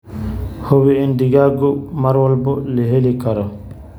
Hubi in digaaggu mar walba la heli karo.